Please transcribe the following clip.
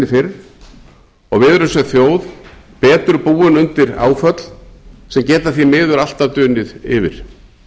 og við erum sem þjóð betur búin undir átök sem geta því miður alltaf dunið yfir